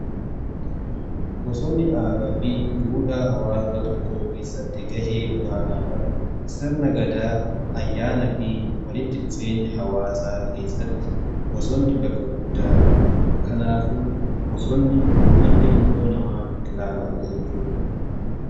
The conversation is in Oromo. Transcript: Bosonni aadaa fi duudhaa hawaasaa tokkoo keessatti ga'ee olaanaa qaba. Sirna gadaa ayyaana fi walitti dhufeenya hawaasaa keessatti bosonni bakka guddaa qaba. Kanaafu bosonni akka ilmoo namaatitti ilaalama jechuudha.